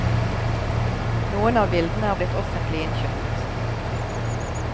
Noen av bildene er blitt offentlig innkjøpt.